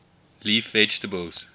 leaf vegetables